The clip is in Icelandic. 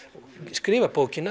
skrifar bókina